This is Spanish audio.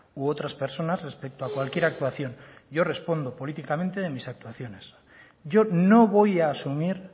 u otras personas respecto a cualquier actuación yo respondo políticamente de mis actuaciones yo no voy a asumir